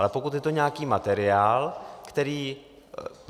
Ale pokud je to nějaký materiál, který...